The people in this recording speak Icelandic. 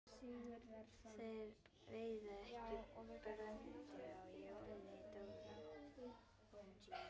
Þeir veiða ekki bröndu á Jóni Dofra.